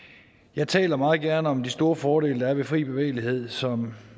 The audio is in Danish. jeg taler meget gerne om de store fordele der er ved den fri bevægelighed som